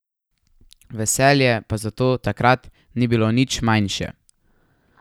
Veselje pa zato takrat ni bilo nič manjše.